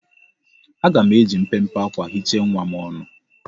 Aga m eji mpempe akwa hichaa nwa m ọnụ.